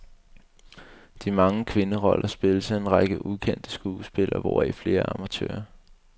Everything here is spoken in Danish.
De mange kvinderoller spilles af en række ukendte skuespillere, hvoraf flere er amatører.